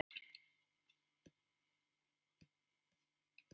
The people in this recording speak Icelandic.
Grundarfjörður Hvort er stærra og fjölmennara bæjarfélag, Akureyri eða Hafnarfjörður?